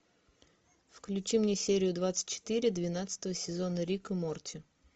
включи мне серию двадцать четыре двенадцатого сезона рик и морти